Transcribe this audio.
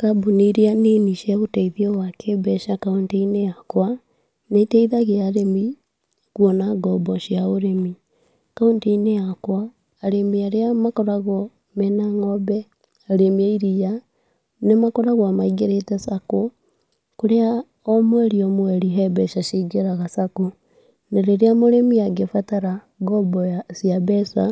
Kambũni ĩrĩa nini cia ũteithio wa kĩmbeca kaunti-inĩ yakwa, nĩ iteithagia arĩmi kuona ngombo cia ũrĩmi, kauntĩ-inĩ yakwa arĩmi arĩa makoragwo mena ng’ombe, arĩmi a iriia nĩmakoragwo maingĩrĩte Sacco, kũrĩa omweri omweri he mbeca cingĩraga Sacco , na rĩrĩa mũrimi angĩbarata ngombo ya cia mbeca,